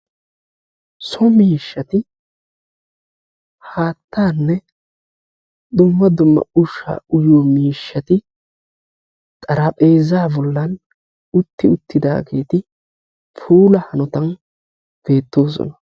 so miishshati haattaanne dumma dumma ushshaa uyiyo miishshati xarapheezaa bollan utti uttidageeti puula hanotan beettoosona.